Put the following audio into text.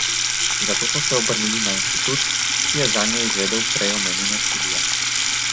Zato so se obrnili na inštitut, ki je zanje izvedel prej omenjeno študijo.